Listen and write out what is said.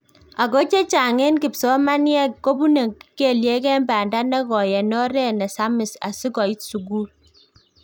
Ago chechang en kipsomaniek kobune keliek en banda negoi en oret nesamis asikoit sukul